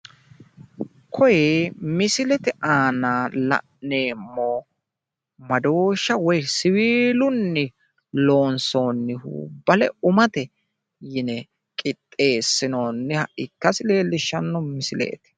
Kuni misilete aana la'neemmo madooshsha woyi siwiilunni loonssoonnihu bale umate yine qixxeessinooniha ikkasi leellishshanno misileeti.